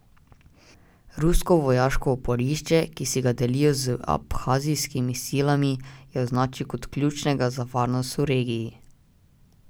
Rusko vojaško oporišče, ki si ga delijo z abhazijskimi silami, je označil kot ključnega za varnost v regiji.